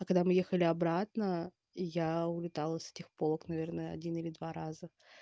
а когда мы ехали обратно я улетала из этих полок наверное один или два раза